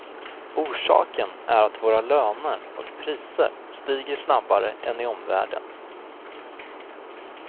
Orsaken är att våra löner och priser stiger snabbare än i omvärlden.